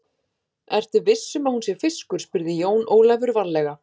Ertu viss um að hún sé fiskur, spurði Jón Ólafur varlega.